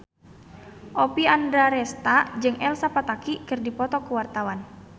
Oppie Andaresta jeung Elsa Pataky keur dipoto ku wartawan